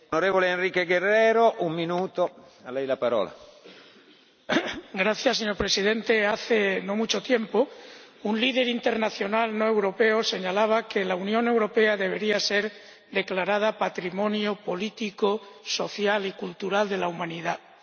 Señor Presidente, hace no mucho tiempo, un líder internacional no europeo señalaba que la Unión Europea debería ser declarada patrimonio político, social y cultural de la humanidad porque éramos un poder blando interviniendo en la resolución de conflictos,